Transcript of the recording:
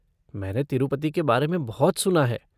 मैंने तिरूपति के बारे में बहुत सुना है।